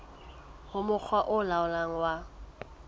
ho mokga o laolang wa